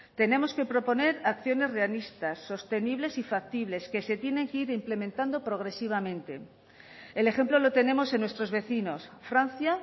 tenemos que proponer acciones realistas sostenibles y factibles que se tienen que ir implementando progresivamente el ejemplo lo tenemos en nuestros vecinos francia